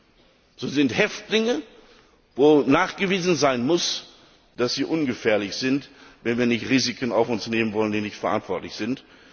Das sind Häftlinge, bei denen nachgewiesen sein muss, dass sie ungefährlich sind, wenn wir nicht Risiken auf uns nehmen wollen, die unverantwortlich sind.